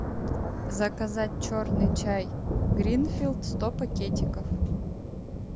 заказать черный чай гринфилд сто пакетиков